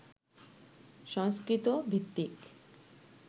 সংস্কৃত ভিত্তিক